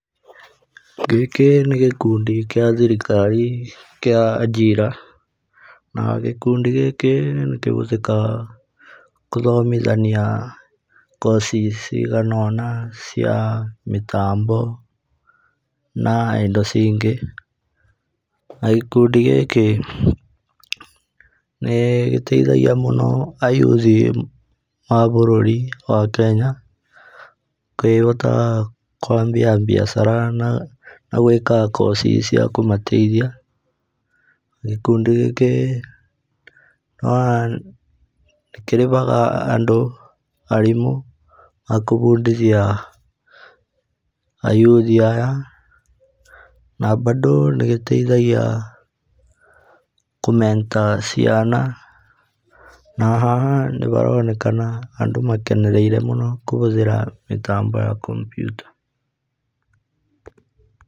Gĩkĩ nĩ gĩkundi gĩa thirikari kĩa AJIRA na gĩkundi gĩkĩ nĩ kĩhũthĩkaga gũthomithania koci ciganona cia mĩtambo na indo ingĩ. Na gĩkundi gĩkĩ, nĩ gĩteithagia mũno ayuthi a bũrũri wa Kenya kwambia biacara na, na gwĩka koci cia kũmateithia. Gĩkundi gĩkĩ nĩkĩrĩhaga andũ, arimũ a kũbundithia ayuthi aya na bado nĩgĩteithagia kũ mentor ciana. Na haha nĩharonekana andĩ makenereire mũno kũhũthĩra mĩtambo ya computer.